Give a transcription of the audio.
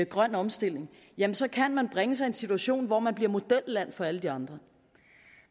grøn omstilling jamen så kan man bringe sig i en situation hvor man bliver modelland for alle de andre